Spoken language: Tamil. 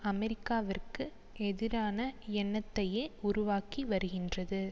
அமெரிக்காவிற்கு எதிரான எண்ணத்தையே உருவாக்கி வருகின்றது